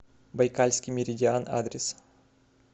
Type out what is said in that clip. байкальский меридиан адрес